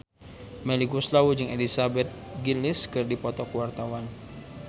Melly Goeslaw jeung Elizabeth Gillies keur dipoto ku wartawan